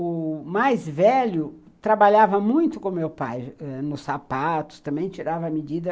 O mais velho trabalhava muito com meu pai ãh, nos sapatos, também tirava medidas.